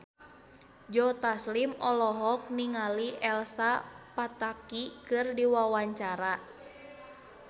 Joe Taslim olohok ningali Elsa Pataky keur diwawancara